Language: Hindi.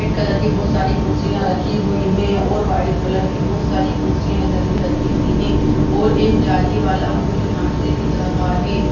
सफेद कलर की बहुत सारी कुर्सियाँ रखी हुई हैं और व्हाइट कलर की बहुत सारी कुर्सियाँ इधर भी रखी हुई है और एक जाली वाला पुल यहाँ से दिख रहा है।